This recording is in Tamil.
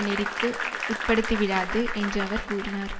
நெறிக்கு உட்படுத்திவிடாது என்று அவர் கூறினார்